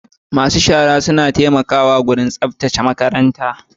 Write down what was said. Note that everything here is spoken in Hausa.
masu shara suna taimakawa wajen tsaftace makaranta.